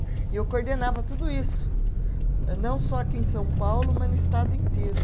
E eu coordenava tudo isso, não só aqui em São Paulo, mas no estado inteiro.